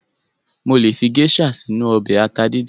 Mo lè fi géṣà sínu ọbẹ̀ ata díndín.